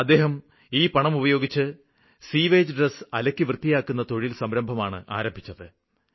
അദ്ദേഹം ഈ പണം ഉപയോഗിച്ച് സീവേജ് ഡ്രസ്സ് അലക്കി വൃത്തിയാക്കുന്ന തൊഴില് സംരംഭമാണ് ആരംഭിച്ചത്